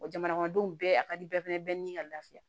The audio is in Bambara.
Wa jamanadenw bɛɛ a ka di bɛɛ fana bɛɛ ni ka lafiya